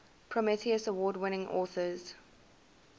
prometheus award winning authors